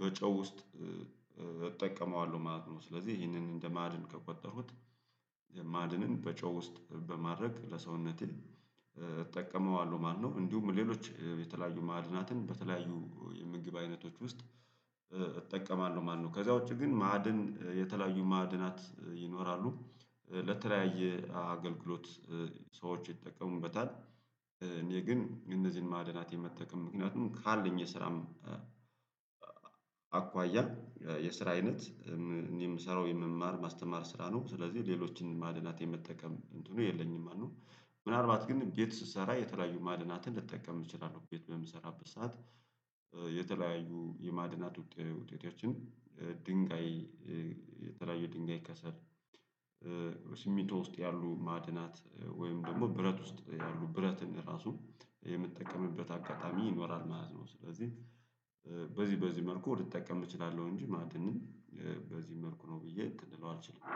በጨው ውስጥ እጠቀመዋለሁ ማለት ነው ስለዚህ ይህንን እንደ ማዕድን ከቆጠርሁት ማድንን በጨው ውስጥ በማድረግ ለሰውነቴ እጠቀመዋለሁ ማለት ነው እንዲሁም ሌሎች የተለያዩ ማዕድናትን በተለያዩ የምግብ አይነቶች ውስጥ እጠቀማለሁ ማለት ነው ከዛ ውጪ ግን ማዕድን የተለያዩ ማዕድናት ይኖራሉ ለተለያየ አገልግሎት ሰዎች ይጠቀሙበታል እኔ ግን እነዚህን ማዕድናት የመጠቀም ምክንያቱም ካለኝ የስራም አኳያ የስራ አይነት እኔ የምሰራው የመማር ማስተማር ስራ ነው ስለዚህ ሌሎችን ማዕድናት የመጠቀም እንትኑ የለኝም ማለት ነው፤ ምናልባት ግን ቤት ስሰራ የተለያዩ ማዕድናትን ልጠቀም እችላለህ ቤት በምሰራበት ሰዓት የተለያዩ የማድናት ውጤቶችን ድንጋይ የተለያዩ ድንጋይ ከሰል ሲሚንቶ ውስጥ ያሉ ማዕድናት ወይም ደግሞ ብረት ውስጥ ያሉ ብረትን ራሱ የምጠቀምበት አጋጣሚ ይኖራል ማለት ነው ስለዚህ በዚህ በዚህ መልኩ ልጠቀም እችላለሁ እንጂ ማዕድንን በዚህ መልኩ ነው ብዬ እንትን ልለው አልችልም